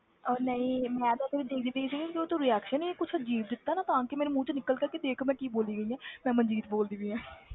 ਉਹ ਨਹੀਂ ਮੈਂ ਤਾਂ ਸਿਰਫ਼ ਦੇਖਦੀ ਸੀ ਤੂੰ ਵੀ ਆਖਿਆ ਨੀ ਕੁਛ ਅਜ਼ੀਬ ਦਿੱਤਾ ਨਾ ਤਾਂ ਕਿ ਮੇਰੇ ਮੂੰਹ ਚੋਂ ਨਿਕਲ ਗਿਆ ਕਿ ਦੇਖ ਮੈਂ ਕੀ ਬੋਲੀ ਗਈ ਹਾਂ ਮੈਂ ਮਨਜੀਤ ਬੋਲਦੀ ਪਈ ਹਾਂ